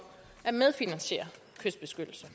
at medfinansiere kystbeskyttelse